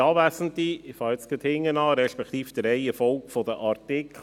Ich fange gerade hinten an, respektive gemäss der Reihenfolge der Artikel.